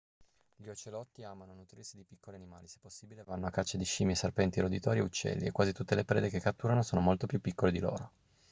gli ocelotti amano nutrirsi di piccoli animali se possibile vanno a caccia di scimmie serpenti roditori e uccelli e quasi tutte le prede che catturano sono molto più piccole di loro